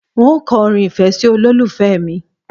N óò ko̩ orin ìfé̩ sí olólùfe̩ mi